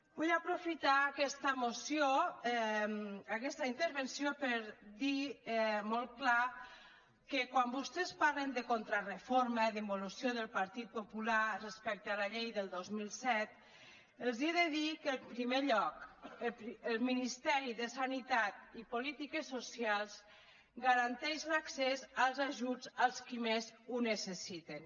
vull aprofitar aquesta moció aquesta intervenció per dir molt clar que quan vostès parlen de contrareforma d’involució del partit popular respecte a la llei del dos mil set els he de dir que en primer lloc el ministeri de sanitat i polítiques socials garanteix l’accés als ajuts als que més ho necessiten